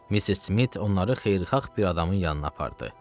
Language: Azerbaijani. Missis Smit onları xeyirxah bir adamın yanına apardı.